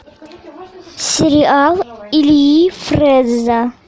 сериал ильи фрэза